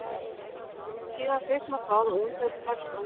Síðan kviknar það og umferðin hefst að nýju.